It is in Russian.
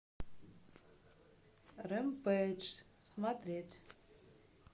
рэмпейдж смотреть